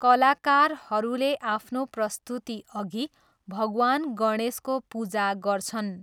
कलाकारहरूले आफ्नो प्रस्तुतिअघि भगवान गणेशको पूजा गर्छन्।